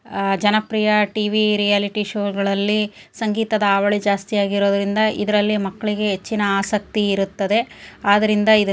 ಆ ಜನಪ್ರಿಯ TV reality show ಗಳಲ್ಲಿ ಸಂಗೀತದ ಹಾವಳಿ ಜಾಸ್ತಿ ಆಗಿರುವುದರಿಂದ ಇದರಲ್ಲಿ ಮಕ್ಕಳಿಗೆ ಹೆಚ್ಚಿನ ಆಸಕ್ತಿ ಇರುತ್ತದೆ ಆದ್ದರಿಂದ ಇದ --